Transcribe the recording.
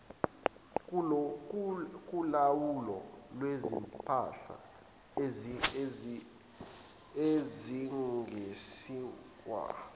kolawulo lwezimpahla ezingeniswayo